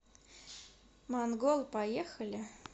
монгол поехали